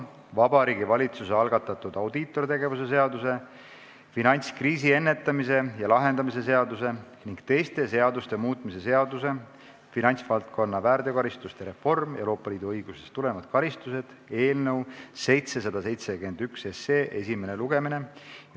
Vabariigi Valitsuse algatatud audiitortegevuse seaduse, finantskriisi ennetamise ja lahendamise seaduse ning teiste seaduste muutmise seaduse eelnõu 771 esimene lugemine.